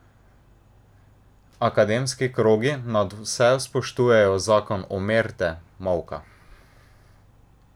Akademski krogi nadvse spoštujejo zakon omerte, molka.